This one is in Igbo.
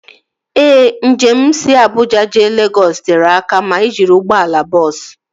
Ee, njem si Abuja jee Legọs tere aka ma ị jiri ụgbọala bọọsu